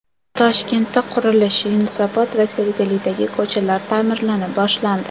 Toshkentda qurilish: Yunusobod va Sergelidagi ko‘chalar ta’mirlana boshlandi.